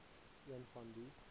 een van die